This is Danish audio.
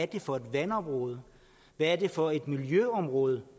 det er for et vandområde hvad det er for miljøområde